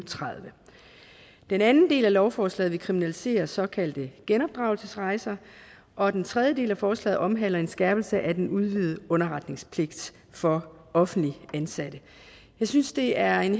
og tredive den anden del af lovforslaget vil kriminalisere såkaldte genopdragelsesrejser og den tredje del af forslaget omhandler en skærpelse af den udvidede underretningspligt for offentligt ansatte jeg synes det er en